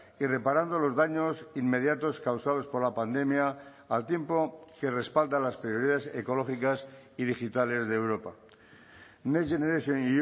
y reparando los daños inmediatos causados por la pandemia al tiempo que respalda las prioridades ecológicas y digitales de europa next generation